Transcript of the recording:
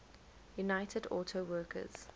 united auto workers